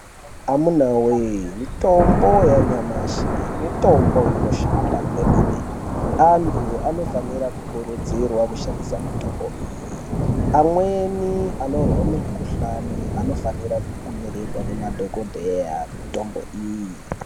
Amunawee, mitombo yanyamashi mitombo inoshanda kwemene. Antu anofanira kukurudzirwa kushandisa mitombo iyi. Amweni anorwa mikuhlani anofanirwa kunyorerwa nemadhokodheya mitombo iyi.